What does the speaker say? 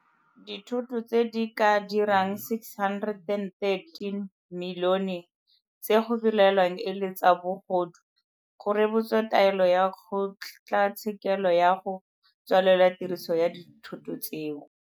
Dithoto tse di ka dirang R613 milione tse go belaelwang e le tsa bogodu go rebotswe taelo ya kgotlatshe kelo ya go tswalela tiriso ya dithoto tseo.